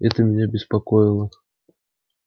это меня беспокоило